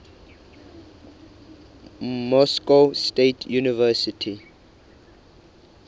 moscow state university